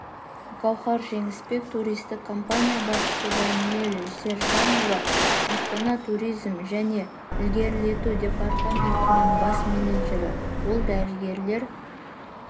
гауһар жеңісбек туристік компания басшысы даниель сержанұлы астана туризм және ілгерілету департаментінің бас менеджері ол дәрігерлер